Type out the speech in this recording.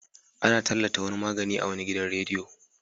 Ana tallata wani magani a wani gidan radiyo.